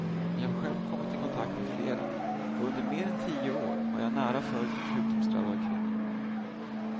Jag har själv kommit i kontakt med flera och under mer än tio år har jag nära följt en sjukdomsdrabbad kvinna.